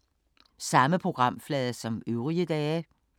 Samme programflade som øvrige dage